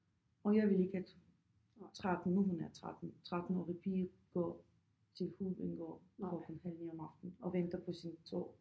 Og jeg vil ikke at 13 nu hun er 13 13-årig pige gå til Hovedbanegård klokken halv 9 om aftenen og venter på sin tog